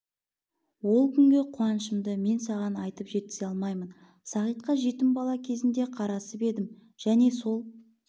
ол күнгі қуанышымды мен саған айтып жеткізе алмаймын сағитқа жетім бала кезінде қарасып едім және сол